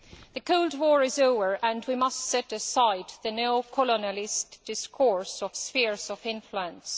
The Cold War is over and we must set aside the neo colonialist discourse of spheres of influence.